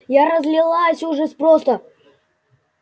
я разлилась ужас просто